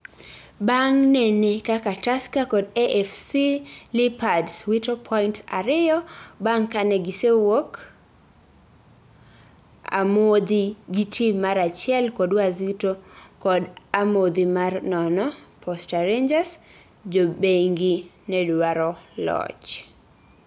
bang nene kakaTusker Kod AFC Leopards witopoints ariyo bang kane gisewuok amodhi gi tim mar achiel kod Wazito kod amodhi mar nono Posta Rangers, jobengi nedwaro loch